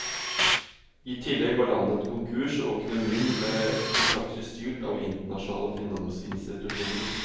I tillegg var landet konkurs og økonomien ble i praksis styrt av internasjonale finansinstitusjoner.